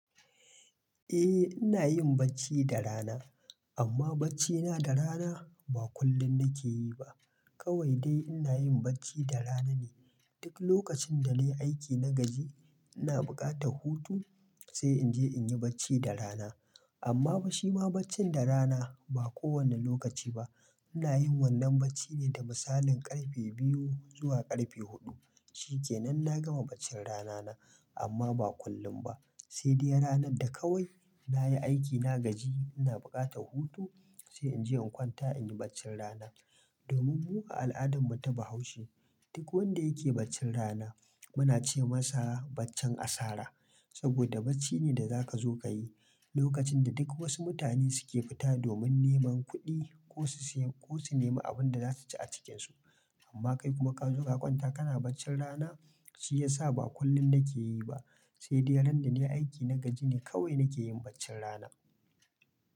Eh ina yin bacci da rana, amma baccina da rana ba kullum nake yi ba. Kawai dai ina yin bacci da rana ne duk lokacin da nayi aiki na gaji ina buƙatar hutu sai in je in yi bacci da rana. Amma fa shima baccin da rana ba kowane lokaci ba. Ina yin wannan bacci ne da misalin ƙarfe biyu zuwa ƙarfe huɗu. Shikenan na gama baccin ranana amma ba kullum ba. Sai dai ranar da kawai nayi aiki na gaji ina buƙatar hutu sai in je in kwanta in yi baccin rana. Domin mu a al'adar mu ta Bahaushe duk wanda yake baccin rana muna ce masa baccen asara. Saboda bacci ne da zaka zo ka yi lokacin da duk wasu mutane suke fita domin neman kuɗi ko su sayi ko su nema abunda za su ci a cikinsu. Amma kai kuma ka zo ka kwanta kana baccin rana shi yasa ba kullum nake yi ba. Sai dai ran da nayi aiki na gaji ne kawai nake yin baccin rana.